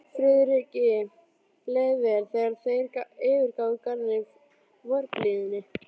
Friðriki leið vel, þegar þeir yfirgáfu Garðinn í vorblíðunni.